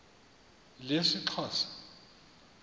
lesixhosa